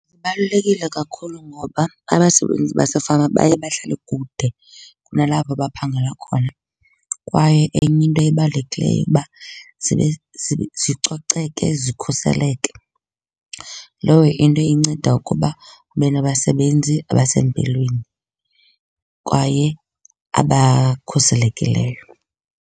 Zibalulekile kakhulu ngoba abasebenzi basefama baye bahlale kude kunalapho baphangela khona kwaye enye into ebalulekileyo uba zicoceke zikhuseleke. Loyo into inceda ukuba ube nabasebenzi abasempilweni kwaye abakhuselekileyo.